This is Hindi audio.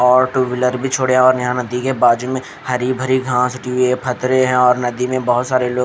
और टू व्हीलर भी छोडिया और यहाँ नदी के बाजु में हरी भरी घास दी हुई है पथरे है और नदी में बहोत सारे लोग--